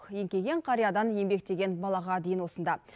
еңкейген қариядан еңбектеген балаға дейін осында